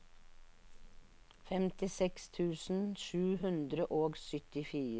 femtiseks tusen sju hundre og syttifire